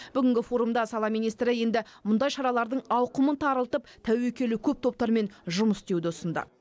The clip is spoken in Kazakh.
бүгінгі форумда сала министрі енді мұндай шаралардың ауқымын тарылтып тәуекелі көп топтармен жұмыс істеуді ұсынды